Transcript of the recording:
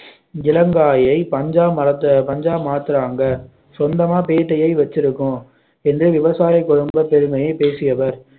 இளங்காயை பஞ்சாமர பஞ்சாமாத்துறாங்க சொந்தமா பேட்டையை வச்சிருக்கோம் என்று விவசாய குடும்ப பெருமையை பேசியவர்